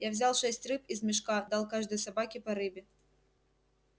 я взял шесть рыб из мешка дал каждой собаке по рыбе